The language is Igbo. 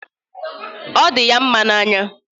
Ọ dị ya mma n'anya